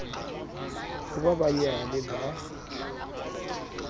ho ba ba nyale ba